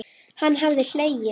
Hann hafði hlegið.